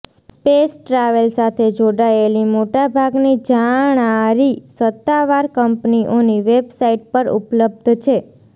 space travel સાથે જોડાયેલી મોટા ભાગની જાણારી સત્તાવાર કંપનીઓની વેબસાઇટ પર ઉપબલ્ધ છે